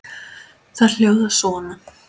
Þær hljóða svona